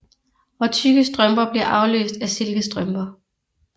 Og tykke strømper bliver afløst af silkestrømper